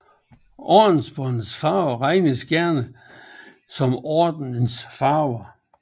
Ordensbåndets farver regnes gerne som ordenens farve